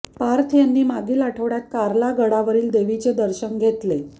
पार्थ यांनी मागील आठवड्यात कार्ला गडावरील देवीचे दर्शन घेतले